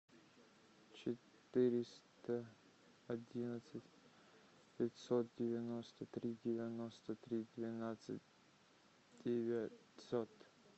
четыреста одиннадцать пятьсот девяносто три девяносто три двенадцать девятьсот